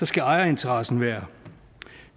skal ejerinteressen være